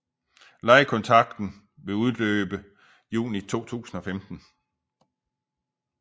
Lejekontrakten ville udløbe i juni 2015